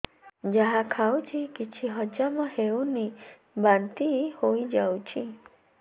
ଯାହା ଖାଉଛି କିଛି ହଜମ ହେଉନି ବାନ୍ତି ହୋଇଯାଉଛି